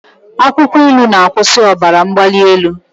Akwụkwọ ilu na-akwụsị ọbara mgbali elu.